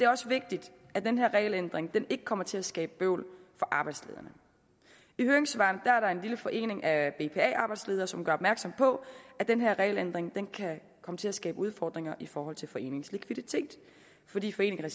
også vigtigt at den her regelændring ikke kommer til at skabe bøvl for arbejdslederne i høringssvarene er der en lille forening af bpa arbejdsledere som gør opmærksom på at den her regelændring kan komme til at skabe udfordringer i forhold til foreningens likviditet fordi foreningen